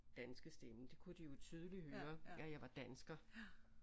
Danske stemme det kunne de jo tydeligt høre at jeg var dansker